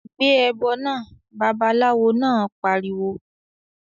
"Gbé ẹbọ náà!", Babaláwo náà pariwo